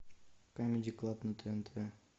камеди клаб на тнт